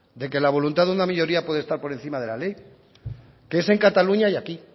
de que la voluntad de una minoría puede estar por encima dela ley que es en cataluña y aquí